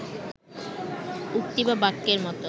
উক্তি বা বাক্যের মতো